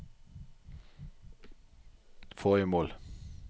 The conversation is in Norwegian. forrige mål